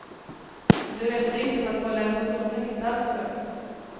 Och det räcker inte för att hålla en person häktad. punkt